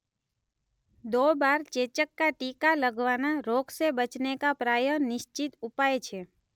દો બાર ચેચક કા ટીકા લગવાના રોગ સે બચને કા પ્રાયઃ નિશ્ચિત ઉપાય છે.